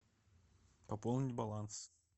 пополнить баланс